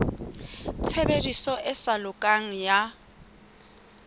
tshebediso e sa lokang ya